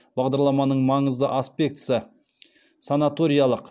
бағдарламаның маңызды аспектісі санаториялық